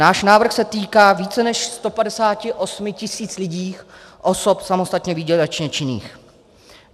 Náš návrh se týká více než 158 tisíc lidí, osob samostatně výdělečně činných.